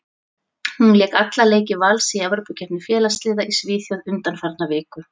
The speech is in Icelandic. Hún lék alla leiki Vals í Evrópukeppni félagsliða í Svíþjóð undanfarna viku.